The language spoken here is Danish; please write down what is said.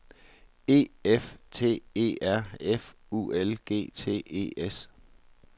E F T E R F U L G T E S